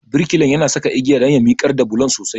Birkilan yana saka igiya don ya miƙar da bulon sosai.